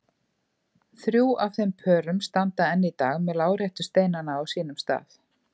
Þrjú af þeim pörum standa enn í dag með láréttu steinana á sínum stað.